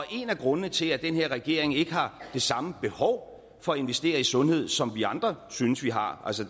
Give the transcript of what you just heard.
en af grundene til at den her regering ikke har det samme behov for at investere i sundhed som vi andre synes vi har